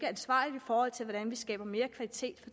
ansvarligt i forhold til hvordan vi skaber mere kvalitet